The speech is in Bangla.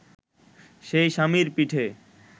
সে স্বামীর পিঠে